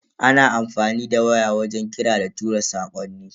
Ana amfani da waya wajen kira da tura sakonni.